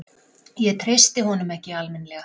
Ég treysti honum ekki alminlega.